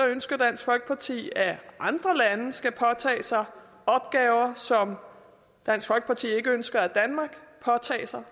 ønsker dansk folkeparti at andre lande skal påtage sig opgaver som dansk folkeparti ikke ønsker at danmark påtager sig